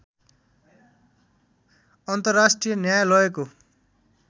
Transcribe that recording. अन्तर्राष्ट्रिय न्यायालयको